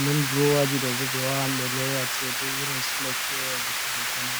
nden drowaji do bube wawan be lowa cede irin sula kewe luttudum mai.